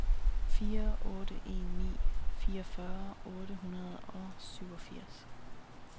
fire otte en ni fireogfyrre otte hundrede og syvogfirs